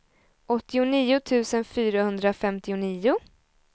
åttionio tusen fyrahundrafemtionio